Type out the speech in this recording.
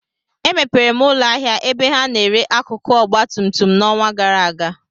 Emepere m ụlọ ahịa ebe ha na-ere akụkụ ọgba tum tum n'ọnwa gara aga